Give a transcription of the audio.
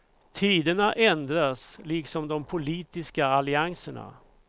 Tiderna ändras, liksom de politiska allianserna.